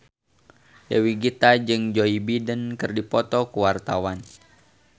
Dewi Gita jeung Joe Biden keur dipoto ku wartawan